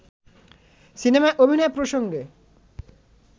সিনেমায় অভিনয় প্রসঙ্গে